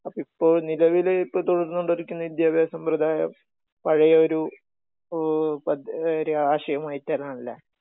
അപ്പൊ, ഇപ്പൊ നിലവില് തുടർന്നുകൊണ്ടിരിക്കുന്ന വിദ്യാഭ്യാസ സമ്പ്രദായം...പഴയൊരു പദ്ധ...ആശയമായിട്ടാണല്ലേ?